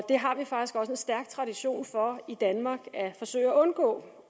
det har vi faktisk også en stærk tradition for i danmark at forsøge at undgå